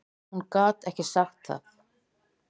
Hún gat ekki sagt það.